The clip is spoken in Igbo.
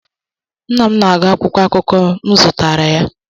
Nna m na-agụ akwụkwọ akụkọ m zụtara ya